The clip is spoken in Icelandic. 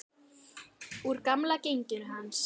Úr gamla genginu hans.